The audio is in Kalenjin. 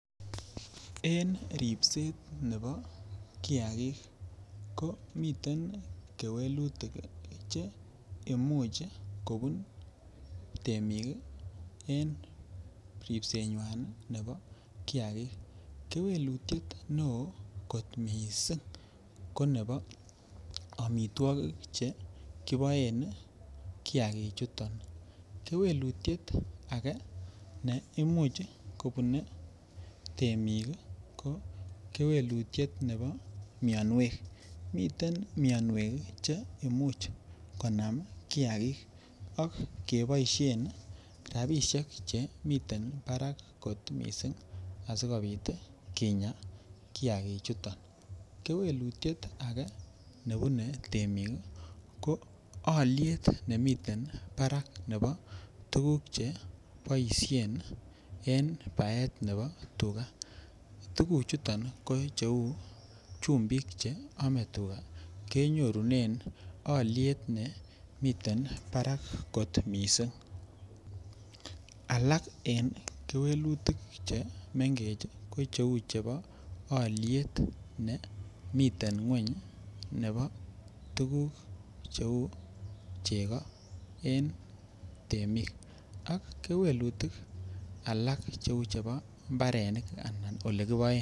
En ribset nebo kiakik ko miten kewelutik che imuch koko temik en ribsenywan nebo kiakik, kewelutiet neoo kot mising ko nebo amitwokik chekiboen kiakichuton, kewelutiet akee ne imuch kobune temik ko kewelutiet nebo mionwek, komiten mionwek che imuch konamkiakik ak keboishen rabishek chemiten barak kot mising asikobit kinya kiakichuton, kewelutiet akee nebune temik ko oliet nemiten barak nebo tukuk cheboishen en baet nebo tukaa, tukuchuton ko cheuu chumbik cheome tuka kenyorunen oliet nemiten barak kot mising, alak en kewelutik chemengech ko cheuu chebo oliet nee miten ngweny nebo tukuk cheuu cheko en temik ak kewelutik alak cheuu chebo mbarenik anan olekiboen.